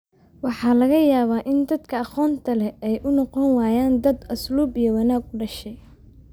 maxaa laga yaabaa in dadka aqoonta leh ay u noqon waayaan dad asluub ​​iyo wanaag u dhashay